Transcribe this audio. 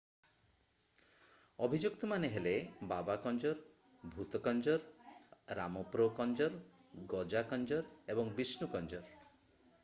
ଅଭିଯୁକ୍ତମାନେ ହେଲେ ବାବା କଞ୍ଜର ଭୁଥ କଞ୍ଜର ରାମପ୍ରୋ କଞ୍ଜର ଗଜା କଞ୍ଜର ଏବଂ ବିଷ୍ଣୁ କଞ୍ଜର